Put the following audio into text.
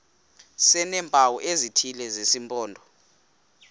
sineempawu ezithile zesimpondo